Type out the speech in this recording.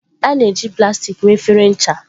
A na-eji plastik mee efere ncha.